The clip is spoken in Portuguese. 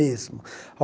Mesmo.